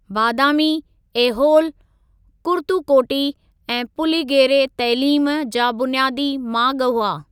बादामी, ऐहोल, कुर्तुकोटी ऐं पुलिगेरे तइलीम जा बुनियादी माॻु हुआ।